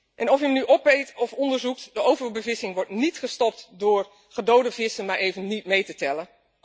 En of je hem nu opeet of onderzoekt overbevissing wordt niet gestopt door gedode vissen maar even niet mee te tellen.